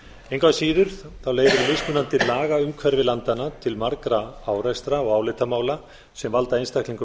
að síður leiðir mismunandi lagaumhverfi landanna til margra árekstra og álitamála sem valda einstaklingum